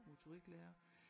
Motoriklærer